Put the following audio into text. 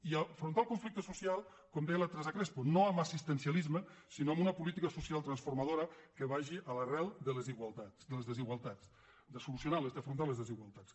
i afrontar el conflic·te social com deia la teresa crespo no amb assisten·cialisme sinó amb una política social transformado·ra que vagi a l’arrel de les desigualtats de solucionar d’afrontar les desigualtats